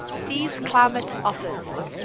sea's climate offers